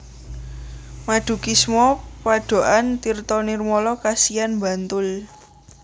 Madukismo Padokan Tirtonirmolo Kasihan Bantul